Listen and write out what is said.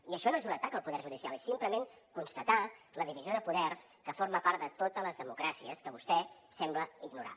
i això no és un atac al poder judicial és simplement constatar la divisió de poders que forma part de totes les democràcies que vostè sembla ignorar